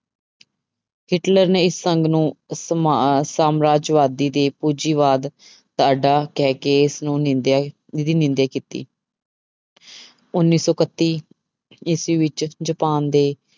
Hitler ਨੇ ਇਸ ਸੰਘ ਨੂੰ ਸਮਾ ਸਾਮਰਾਜਵਾਦੀ ਤੇ ਪੂੰਜੀਵਾਦ ਕਹਿ ਕੇ ਇਸਨੂੰ ਨਿੰਦਿਆ ਨਿਰੀ ਨਿੰਦਿਆ ਕੀਤੀ ਉੱਨੀ ਸੌ ਇਕੱਤੀ ਈਸਵੀ ਵਿੱਚ ਜਪਾਨ ਦੇ